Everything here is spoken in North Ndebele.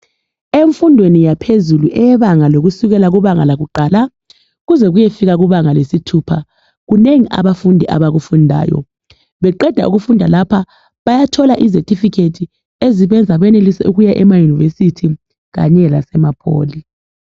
Emfundweni yaphezulu yebanga lokusukela kubanga lakuqala Kuze kuyefika kubanga lesithupha kunengi abafundi abakufandayo beqenda ukufunda lapha bayathola ezethifikethi ezibenza benelise ukuya ema yunivesithi kanye lasemapholi